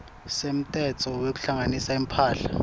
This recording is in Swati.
semtsetfo wekuhlanganisa imphahla